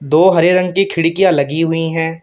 दो हरे रंग की खिड़कियां लगी हुई हैं।